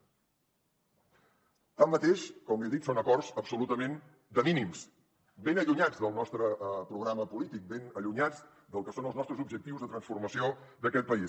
tanmateix com li he dit són acords absolutament de mínims ben allunyats del nostre programa polític ben allunyats del que són els nostres objectius de transformació d’aquest país